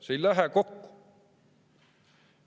See ei lähe kokku.